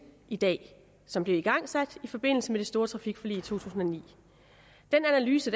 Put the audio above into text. i dag som blev igangsat i forbindelse med det store trafikforlig i to tusind og ni den analyse